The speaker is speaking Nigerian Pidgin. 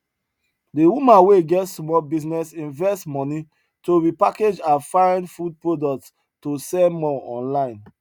the woman wey get small business invest money to repackage her fine food products to sell more online